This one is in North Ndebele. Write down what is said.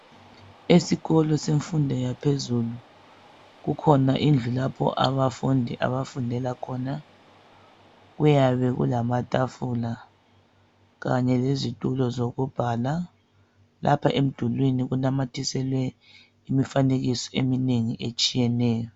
Esikolo semfundo yaphezulu kukhona indlu lapho abafundi abafundela khona. Kuyabe kulamatafula kanye lezitulo zokubhala. Lapha emdulwini kunamathiselwe imfanekiso eminengi etshiyeneyo.